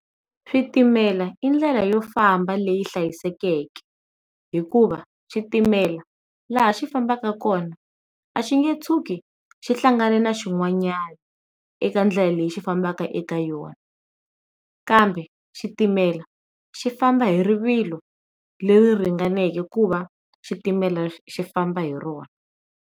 Switimela i ndlela yo famba leyi hlayisekeke hikuva xitimela laha xi fambaka kona a xi nge tshuki xi hlangane na xin'wanyana eka ndlela lexi xi fambaka eka yona kambe, xitimela xi famba hi rivilo leyi ringaneke ku va xitimela xi famba hi rona.